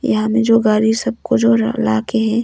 यहां में जो गाड़ी सबको जो ला के है।